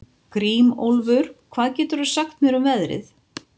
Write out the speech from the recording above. Grímólfur, hvað geturðu sagt mér um veðrið?